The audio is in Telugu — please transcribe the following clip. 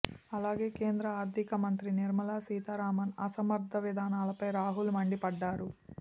అలాగే కేంద్ర ఆర్థిక మంత్రి నిర్మలా సీతారామన్ అసమర్థ విధానాలపై రాహుల్ మండి పడ్డారు